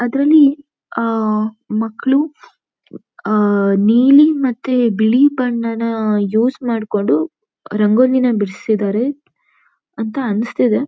ಅದ್ರಲ್ಲಿ ಆಹ್ ಮಕ್ಕಳು ಆಹ್ ನೀಲಿ ಮತ್ತೆ ಬಿಳಿ ಬಣ್ಣ ನ ಯೂಸ್ ಮಾಡಕೊಂಡು ರಂಗೋಲಿನ ಬಿಡಿಸಿದ್ದಾರೆ ಅಂತಾ ಅನ್ನಸ್ತಿದೆ.